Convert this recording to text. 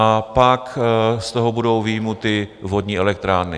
A pak z toho budou vyjmuty vodní elektrárny.